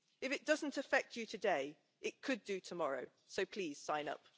If it doesn't affect you today, it could do tomorrow, so please sign up.